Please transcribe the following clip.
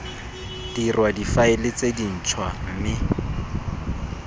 dirwa difaele tse dintshwa mme